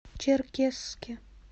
черкесске